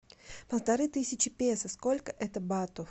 полторы тысячи песо сколько это батов